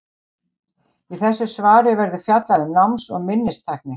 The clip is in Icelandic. Í þessu svari verður fjallað um náms- og minnistækni.